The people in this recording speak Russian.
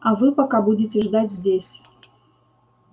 а вы пока будете ждать здесь